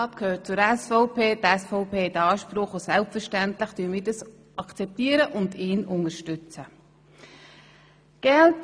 Er gehört zur SVP, die SVP hat Anspruch auf den Sitz und selbstverständlich akzeptieren wir dies und unterstützen seine Wahl.